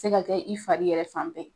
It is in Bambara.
ka kɛ i fari yɛrɛ ma